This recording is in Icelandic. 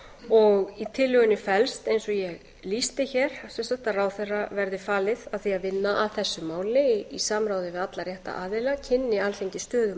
og í tillögunni felst eins og ég lýsti hér sem sagt að ráðherra verði falið að vinna að þessu máli í samráði við alla rétta aðila kynni alþingi stöðu